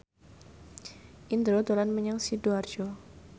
Indro dolan menyang Sidoarjo